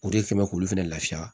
O de kɛ mɛ k'olu fɛnɛ lafiya